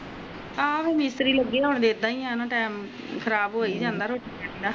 ਆਹੋ ਤੇ ਫੇਰ ਮਿਸਤਰੀ ਲਗੇ ਆ ਤੇ ਟੀਮ ਖਰਾਬ ਹੋ ਹੈ ਜਾਂਦਾ ਆ ਰੋਟੀਆਂ ਦਾ